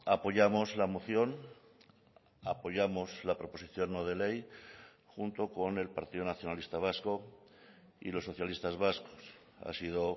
apoyamos la moción apoyamos la proposición no de ley junto con el partido nacionalista vasco y los socialistas vascos ha sido